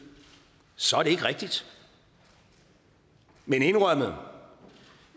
så er det ikke rigtigt men indrømmet